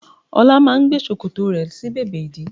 Ọlá máa ń gbé ṣòkòtò rẹ̀ sí bèbè ìdí